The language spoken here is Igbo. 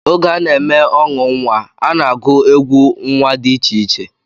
Oge a na-eme ọṅụ nnwa, a na-agụ egwú nnwa dị iche iche